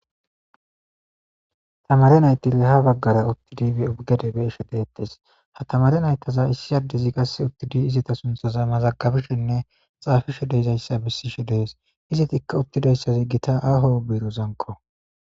Tamare naytile ha baggara uttidi e ubgade beeshe deettes ha tamare naytaza issi addezi gasse uttidi izita sunthaza mazagabishenne xaafishe deezayssa bissishe dees izi tikka uttidayssazi gita aho biirozanko.